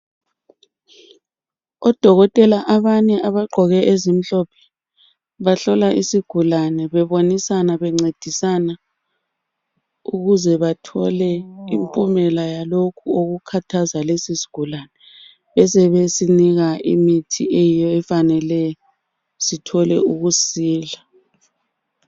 Odokotela abanye abagqoke ezimhlophe bahlola isigulane bebonisana bencedisana ukuze bathole impumela yalokho okukhathaza lesisigulane besebesinika imithi eyiyo efaneleyo sithole ukusila.